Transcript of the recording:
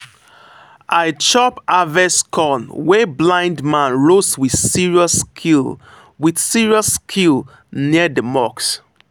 i chop harvest corn wey blind man roast with serious skill with serious skill near the mosque.